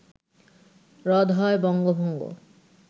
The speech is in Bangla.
রদ হয় বঙ্গভঙ্গ